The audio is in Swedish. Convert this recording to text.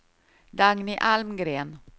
Dagny Almgren